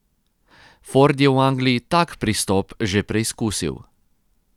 Ford je v Angliji tak pristop že preizkusil.